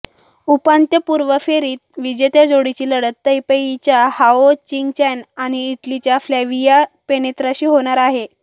उपांत्यपूर्व फेरीत विजेत्या जोडीची लढत तैपेईच्या हाओ चींग चॅन आणि इटलीच्या फ्लॅविया पेनेत्राशी होणार आहे